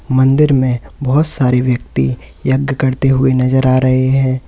मंदिर में बहोत सारे व्यक्ति यज्ञ करते हुए नजर आ रहे हैं।